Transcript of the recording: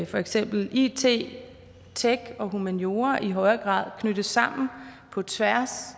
for eksempel it tech og humaniora i højere grad knyttes sammen på tværs